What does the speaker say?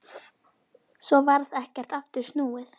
Svo varð ekkert aftur snúið.